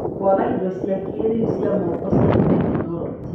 Kwaga indo cia kĩĩrĩu cia moko cia tekinoronjĩ.